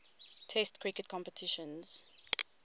test cricket competitions